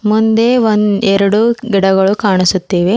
ಮುಂದೆ ಒಂದ್ ಎರಡು ಗಿಡಗಳು ಕಾಣಿಸುತ್ತಿವೆ.